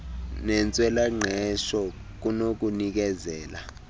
nentswela ngqesho kunokunikezela